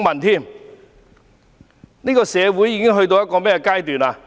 這個社會已到了甚麼地步？